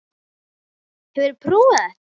Hefurðu prófað þetta?